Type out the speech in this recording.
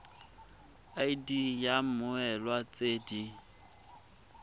id ya mmoelwa tse di